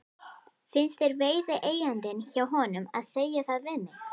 Finnst þér viðeigandi hjá honum að segja það við mig?